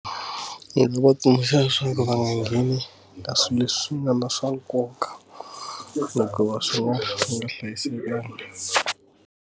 Ndzi nga va tsundzuxa leswaku va nga ngheni ka swilo leswi nga na swa nkoka hikuva swin'wana swi nga hlayisekanga.